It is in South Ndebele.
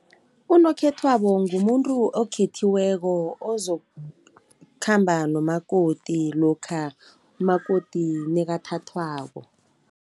Unokhethwabo ngumuntu okhethiweko ozokukhamba nomakoti, lokha umakoti nekathathwako.